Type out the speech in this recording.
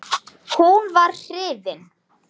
Hún var hrifin.